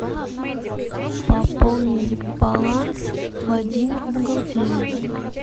пополнить баланс владимир бухгалтерия